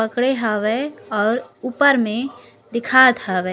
पकडे हावय आऊ ऊपर में दिखात हावय